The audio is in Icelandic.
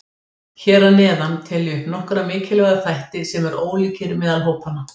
Hér að neðan tel ég upp nokkra mikilvæga þætti sem eru ólíkir meðal hópanna.